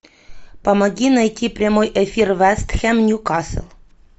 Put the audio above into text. помоги найти прямой эфир вест хэм ньюкасл